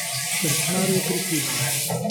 Krčmar je prikimal.